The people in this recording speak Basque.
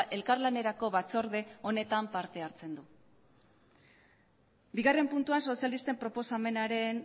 ere elkarlanerako batzorde honetan parte hartzen du bigarren puntuan sozialisten